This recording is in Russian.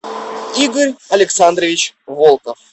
игорь александрович волков